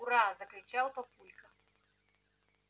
ура закричал папулька